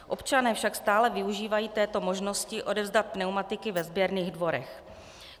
Občané však stále využívají této možnosti odevzdat pneumatiky ve sběrných dvorech.